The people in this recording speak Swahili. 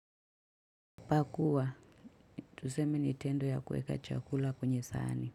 Pakua. Tuseme ni tendo ya kuweka chakula kwenye sahani.